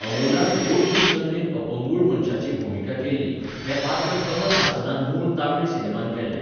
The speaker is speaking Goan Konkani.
अमोलान बौध्दिक नदरेन अपंगूळ मनशाची भुमिका केल्ली, हें पात्र कमल हासनान मूळ तमिळ सिनेमांत केल्लें.